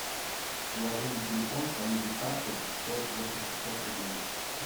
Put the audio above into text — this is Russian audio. положи на телефон коллеге саше сто восемьдесят пять рублей